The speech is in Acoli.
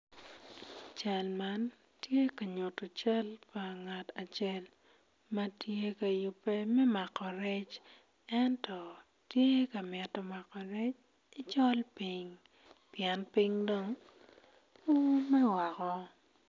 Cal man tye ka nyuto cal pa ngat acel ma tye ka yubbe me mako rec ento tye ka mito mako rec ki i col piny pien piny dong oume woko.